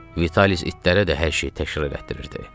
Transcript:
Vialis itlərə də hər şeyi təkrar elətdirirdi.